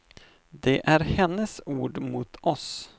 Det är hennes ord mot oss.